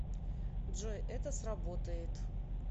джой это сработает